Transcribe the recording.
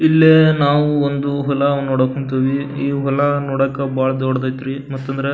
ಇಲ್ಲೇ ನಾವು ಒಂದು ಹೊಲವ ನೋಡಕ್ ಹೊಂಥಿವಿ ಈ ಹೊಲ ನೋಡಾಕ ಬಹಳ ದೊಡ್ಡದೈತ್ರಿ ಮತ್ ಅಂದ್ರ --